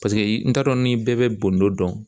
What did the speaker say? i t'a dɔn ni bɛɛ bɛ bondo dɔn